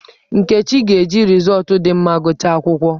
Nkechi ga-eji rịzọọtụ dị mma gụchaa akwụkwọ.